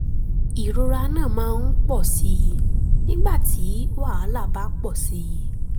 ìrora náà máa ń pọ̀ sí i nígbà tí wàhálà bá pọ̀ sí i